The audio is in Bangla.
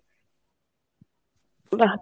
বাহ!